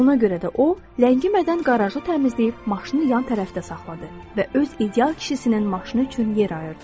Ona görə də o, ləngimədən qarajı təmizləyib maşını yan tərəfdə saxladı və öz ideal kişisinin maşını üçün yer ayırdı.